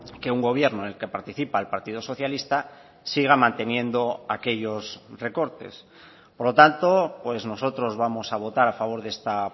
que un gobierno en el que participa el partido socialista siga manteniendo aquellos recortes por lo tanto nosotros vamos a votar a favor de esta